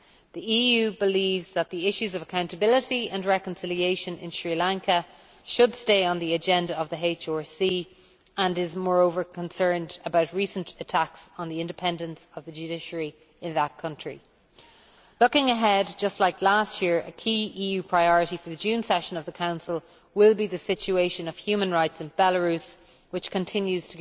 The EU believes that the issues of accountability and reconciliation in Sri Lanka should stay on the agenda of the HRC, and is moreover concerned about recent attacks on the independence of the judiciary in that country. Looking ahead, as last year, a key EU priority for the June session of the Council will be the situation of human rights in Belarus, which continues